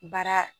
Baara